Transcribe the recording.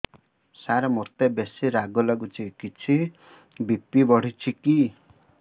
ସାର ମୋତେ ବେସି ରାଗ ଲାଗୁଚି କିଛି ବି.ପି ବଢ଼ିଚି କି